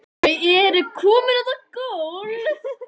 Þau eru komin út á gólf.